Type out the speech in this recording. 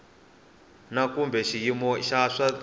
na kumbe xiyimo xa swa